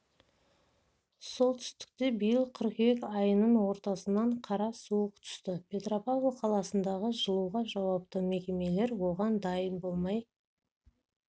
солтүстікте биыл қыркүйек айының ортасынан қара суық түсті петропавл қаласындағы жылуға жауапты мекемелер оған дайын болмай